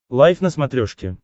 лайф на смотрешке